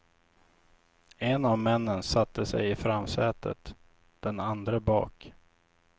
En av männen satte sig i framsätet, den andre bak.